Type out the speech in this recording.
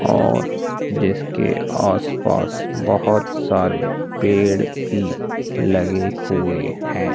और जिसके आसपास बहुत सारे पेड़ भी लगे हुए हैं।